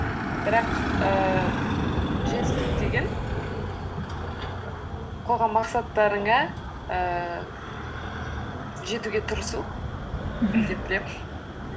бірақ ііі жетістік деген қойған мақсаттарыңа ііі жетіге тырысу мхм деп білемін